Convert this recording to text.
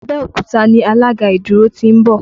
Abẹ́òkúta ni alága ìdúró ti ń bọ̀